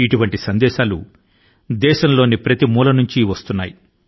ఈ విధమైన సందేశాలు నాకు దేశం నలుమూలల నుండి వస్తున్నాయి